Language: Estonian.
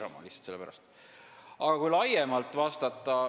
Aga vastan ka laiemalt.